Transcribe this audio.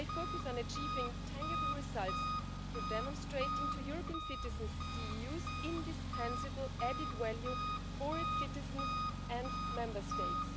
They focus on achieving tangible results through demonstrating to European citizens the EU's indispensable added value for its citizens and Member States.